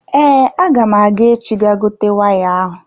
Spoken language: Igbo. Ee, agam aga echi ga gote waya ahụ.